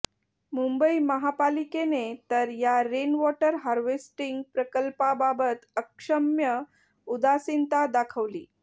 मुंबई महापालिकेने तर या रेन वॉटर हार्वेस्टिंग प्रकल्पाबाबत अक्षम्य उदासीनता दाखवली